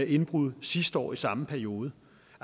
indbrud sidste år i samme periode